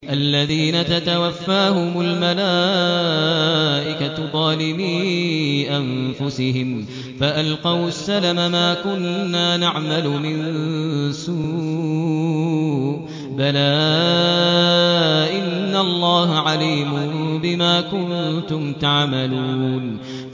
الَّذِينَ تَتَوَفَّاهُمُ الْمَلَائِكَةُ ظَالِمِي أَنفُسِهِمْ ۖ فَأَلْقَوُا السَّلَمَ مَا كُنَّا نَعْمَلُ مِن سُوءٍ ۚ بَلَىٰ إِنَّ اللَّهَ عَلِيمٌ بِمَا كُنتُمْ تَعْمَلُونَ